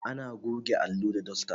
Ana goge allo da dasta